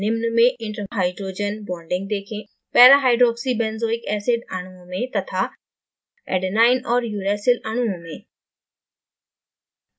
निम्न में inter hydrogen bonding देखें: parahydroxybenzoic acid अणुओं में तथा adenine और uracil अणुओं में